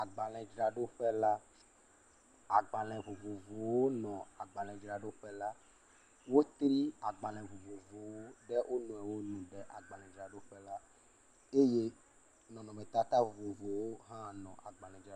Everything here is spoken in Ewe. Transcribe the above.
Agbaledzrɖoƒe la. Agbale vovovowo nɔ agbale dzraɖoƒe la. Wotri agbale vovovowo ɖe wo nɔewo nu le agbaledraɖoƒe la eye nɔnɔmetata vovovowo hã le agbaledzraɖoƒe la.